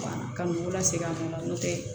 Ka n'u la segin a nɔ la n'o tɛ